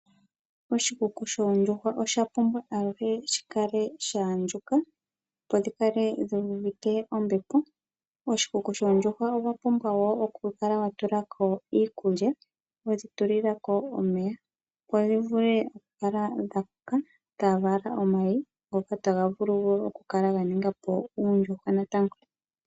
Oshikuku shoondjuhwa oshapumbwa aluhe shikale sha andjuka opo dhikale dhu uvite ombepo. Koshikuku shoondjuhwa owapumbwa wukale watulako iikulya nomeya opo dhivule okukala dha kuta dhivale omayi ngoka taga vulu okukala ga ningapo oondjuhwa natango.